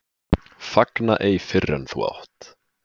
Fagna ei fyrr en þú átt.